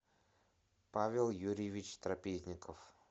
павел юрьевич трапезников